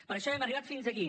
per això hem arribat fins aquí